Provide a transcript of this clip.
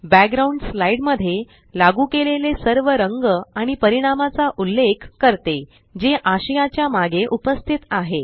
background slide मध्ये लागू केलेले सर्व रंग आणि परिणामाचा उल्लेख करते जे आशयाच्या मागे उपस्थित आहे